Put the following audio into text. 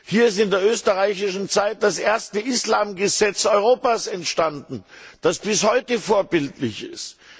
Hier ist in der österreichischen Zeit das erste Islam Gesetz Europas entstanden, das bis heute vorbildlich